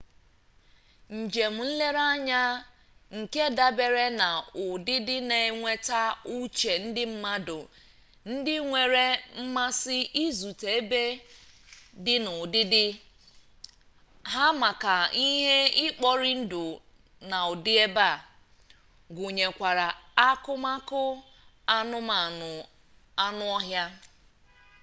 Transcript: njem-nlere anya nke dabere na udidi na enweta uche ndi mmadu ndi nwere mmasi izute ebe di na udidi ha maka ihi ikpori-ndu na udi ebe gunyekwara akumaku anumanu anu-ohia